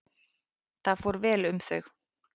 Þar fór vel um þau.